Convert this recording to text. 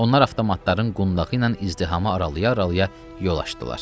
Onlar avtomatların qundağı ilə izdihamı aralaya-aralaya yol açdılar.